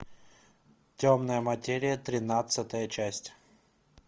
темная материя тринадцатая часть